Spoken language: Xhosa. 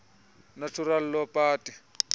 natural law party